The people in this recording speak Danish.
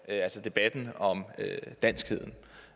at debatten om danskheden